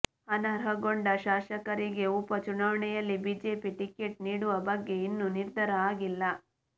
ಅನರ್ಹಗೊಂಡ ಶಾಸಕರಿಗೆ ಉಪ ಚುನಾವಣೆಯಲ್ಲಿ ಬಿಜೆಪಿ ಟಿಕೆಟ್ ನೀಡುವ ಬಗ್ಗೆ ಇನ್ನೂ ನಿರ್ಧಾರ ಆಗಿಲ್ಲ